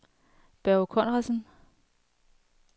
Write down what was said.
Børge Conradsen